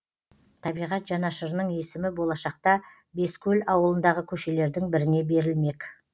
табиғат жанашырының есімі болашақта бескөл ауылындағы көшелердің біріне берілмек